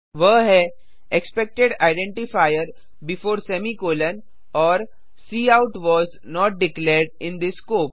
वह है expected identifier before semicolon और cout was not declared in this scope